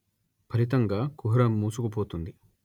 ఫలితంగా కుహరం మూసుకుపోతుంది